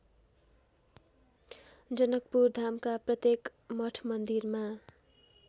जनकपुरधामका प्रत्येक मठमन्दिरमा